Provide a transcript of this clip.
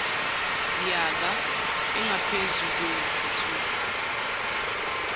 yaka engaphezu kweyisithupha